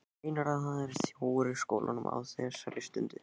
Meinarðu. að það sé þjófur í skólanum. á þessari stundu?